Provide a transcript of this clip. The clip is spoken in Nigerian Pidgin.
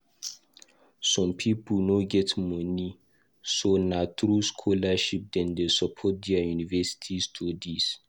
Some people no get money, so nah through scholarship Dem dey support their university studies.